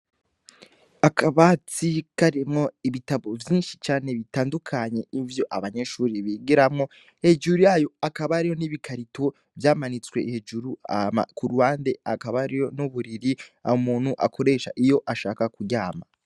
Akabatsi karemwo ibitabo vyinshi cane bitandukanye ivyo abanyeshuri bigeramwo hejuru yayo akabariyo n'ibikarito vyamanitswe hejuru ama ku rbande akaba ario n'uburiri abo umuntu akoresha iyo ashaka kuryama.